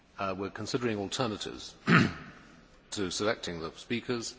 We are considering alternatives to selecting the speakers.